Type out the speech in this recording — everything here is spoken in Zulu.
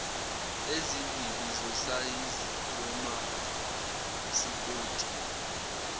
ezimbili zosayizi wepasipoti